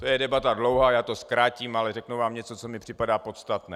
To je debata dlouhá, já to zkrátím, ale řeknu vám něco, co mi připadá podstatné.